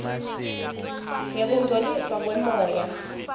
ngekungcoliswa kwemoya